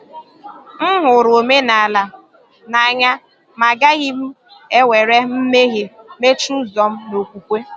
M hụrụ omenala n’anya, ma agaghị m ewere mmehie mechie ụzọ m n’okwukwe.